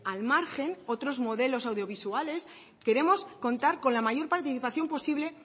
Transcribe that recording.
al margen otros modelos audiovisuales queremos contar con la mayor participación posible